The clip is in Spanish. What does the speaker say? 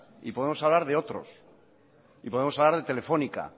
y podemos hablar de otros y podemos hablar de telefónica